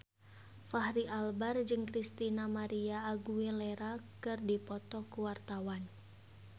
Fachri Albar jeung Christina María Aguilera keur dipoto ku wartawan